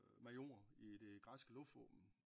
Major i det græske luftvåben